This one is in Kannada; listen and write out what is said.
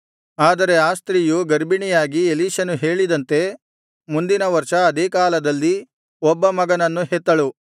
ಆದರೆ ಆ ಸ್ತ್ರೀಯು ಗರ್ಭಿಣಿಯಾಗಿ ಎಲೀಷನು ಹೇಳಿದಂತೆ ಮುಂದಿನ ವರ್ಷ ಅದೇ ಕಾಲದಲ್ಲಿ ಒಬ್ಬ ಮಗನನ್ನು ಹೆತ್ತಳು